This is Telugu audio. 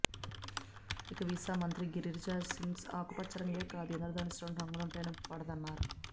ఇక వీసా మంత్రి గిరిరాజ్ సింగ్కు ఆకుపచ్చ రంగే కాదు ఇంద్ర ధనస్సులోని రంగులంటేనూ పడద న్నారు